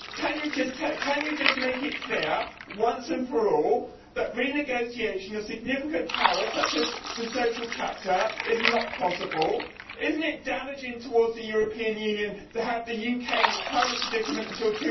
Can you just make it clear, once and for all, that renegotiation of significant powers such as the Social Chapter is not possible? Is it not damaging to the European Union to have the UK in its current predicament until